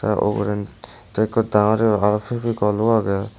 aro uguren tay ikko dangor yo aro fevikolo agey.